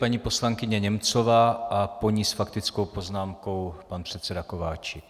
Paní poslankyně Němcová a po ní s faktickou poznámkou pan předseda Kováčik.